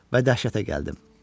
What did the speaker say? Və dəhşətə gəldim.